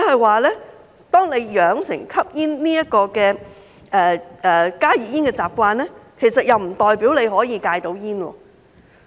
換言之，養成吸食加熱煙這個習慣，並不代表可以戒煙。